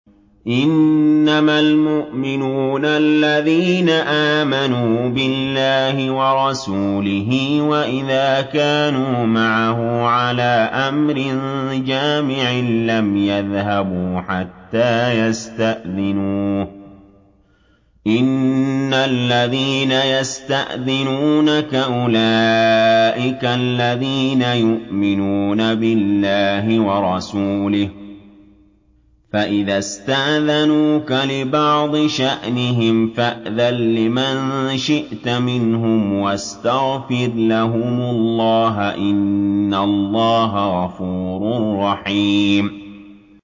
إِنَّمَا الْمُؤْمِنُونَ الَّذِينَ آمَنُوا بِاللَّهِ وَرَسُولِهِ وَإِذَا كَانُوا مَعَهُ عَلَىٰ أَمْرٍ جَامِعٍ لَّمْ يَذْهَبُوا حَتَّىٰ يَسْتَأْذِنُوهُ ۚ إِنَّ الَّذِينَ يَسْتَأْذِنُونَكَ أُولَٰئِكَ الَّذِينَ يُؤْمِنُونَ بِاللَّهِ وَرَسُولِهِ ۚ فَإِذَا اسْتَأْذَنُوكَ لِبَعْضِ شَأْنِهِمْ فَأْذَن لِّمَن شِئْتَ مِنْهُمْ وَاسْتَغْفِرْ لَهُمُ اللَّهَ ۚ إِنَّ اللَّهَ غَفُورٌ رَّحِيمٌ